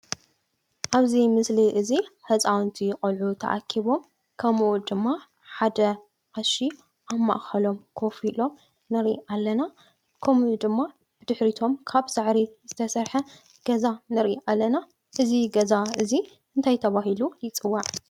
ኣብዚ ምስሊ እዚ ህፃውቲ ቆልዑ ተኣኪቦም ከምኡ ድማ ሓደ ቀሺ ኣብ ማእከሎም ኮፍ ኢሎም ንሪኢ ኣለና ።ከምኡ ድማ ብድሕሪቶም ካብ ሳዕሪ ዝተሰርሐ ገዛ ንሪኢ ኣለና። እዚ ገዛ እዚ እንታይ ተባሂሉ ይፅዋዕ ?